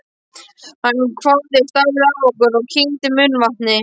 Hann hváði, starði á okkur og kyngdi munnvatni.